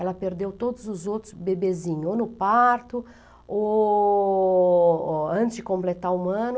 Ela perdeu todos os outros bebezinhos, ou no parto, ou antes de completar um ano.